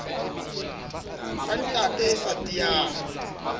ka nate e sa tiyang